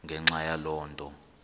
ngenxa yaloo nto